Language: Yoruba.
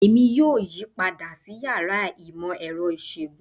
Èmi yóò yí padà sí yàrá ìmọ̀ ẹrọ ìṣòògùn